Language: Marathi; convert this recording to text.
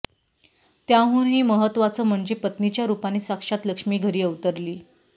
त्याहूनही महत्वाचं म्हणजे पत्नीच्या रुपाने साक्षात लक्ष्मी घरी अवतरली